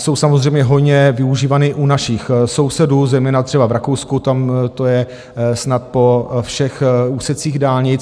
Jsou samozřejmě hojně využívané u našich sousedů, zejména třeba v Rakousku, tam to je snad po všech úsecích dálnic.